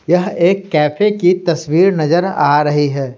यह एक कैफे की तस्वीर नजर आ रही है ।